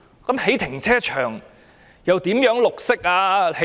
興建停車場又如何綠色呢？